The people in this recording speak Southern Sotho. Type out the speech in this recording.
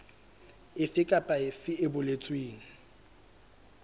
efe kapa efe e boletsweng